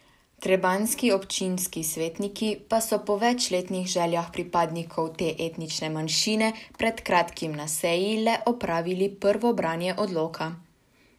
Trebanjski občinski svetniki so po večletnih željah pripadnikov te etnične manjšine pred kratkim na seji le opravili prvo branje odloka.